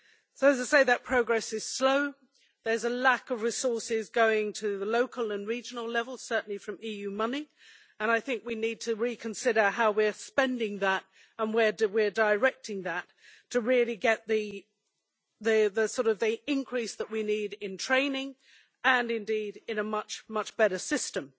So progress is slow, there is a lack of resources going to the local and regional level, certainly from EU money, and I think we need to reconsider how we are spending and directing that to really get the increase that we need in training and indeed in a much, much better system.